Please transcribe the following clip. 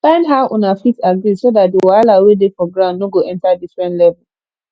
find how una fit agree so dat di wahala wey dey for ground no go enter different level